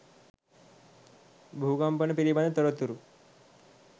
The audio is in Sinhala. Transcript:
භූ කම්පන පිළිබඳ තොරතුරු